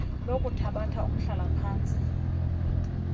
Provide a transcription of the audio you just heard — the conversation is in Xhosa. lokuthabatha umhlala phantsi